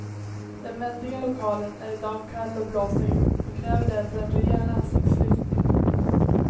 Den väldiga lokalen är i dag kall och blåsig och kräver därför en rejäl ansiktslyftning.